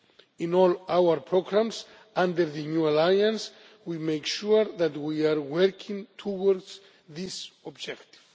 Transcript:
In all our programmes under the New Alliance we make sure that we are working towards this objective.